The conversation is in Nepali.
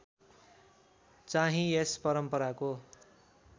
चाहिँ यस परम्पराको